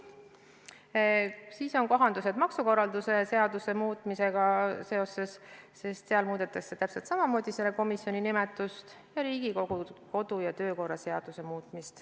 Veel on väiksed kohendused maksukorralduse seaduses ja Riigikogu kodu- ja töökorra seaduses.